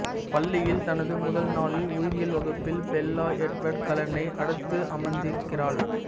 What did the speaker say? பள்ளியில் தனது முதல் நாளில் உயிரியல் வகுப்பில் பெல்லா எட்வர்டு கலெனை அடுத்து அமர்ந்திருக்கிறாள்